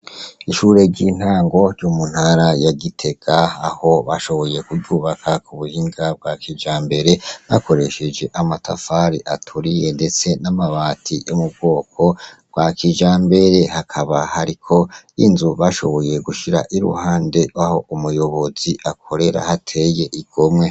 Ishure ry' intango ryo mu ntara ya Gitega aho bashoboye kuryubaka kubuhinga bwa kijambere bakoresheje amatafari aturiye ndetse n' amabati yo mu bwoko bwa kijambere hakaba hariko inzu bashoboye gushira iruhande aho umuyobozi akorera hateye igomwe.